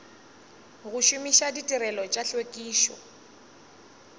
go šomiša ditirelo tša tlhwekišo